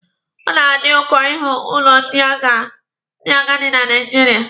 Ọ na-adị ụkọ ịhụ ụlọ ndị agadi na Naijiria.